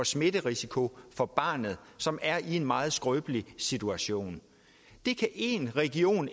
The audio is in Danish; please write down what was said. smitterisikoen for barnet som er i en meget skrøbelig situation én region